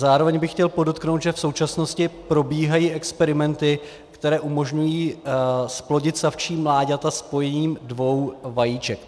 Zároveň bych chtěl podotknout, že v současnosti probíhají experimenty, které umožňují zplodit savčí mláďata spojením dvou vajíček.